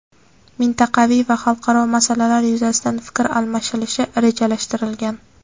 mintaqaviy va xalqaro masalalar yuzasidan fikr almashilishi rejalashtirilgan.